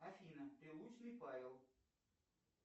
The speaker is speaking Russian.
афина прилучный павел